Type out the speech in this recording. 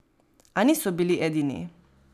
A niso bili edini.